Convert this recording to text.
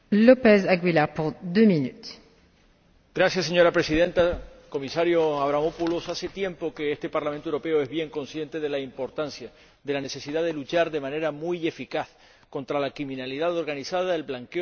Señora Presidenta, Comisario Avramopoulos, hace tiempo que este Parlamento Europeo es bien consciente de la importancia, de la necesidad, de luchar de manera muy eficaz contra la criminalidad organizada, el blanqueo de dinero procedente de negocios ilícitos y la corrupción.